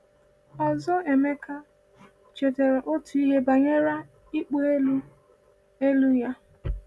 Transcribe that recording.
Ọzọ Emeka chetara otu ihe banyere “ịkpọ elu” elu” ya.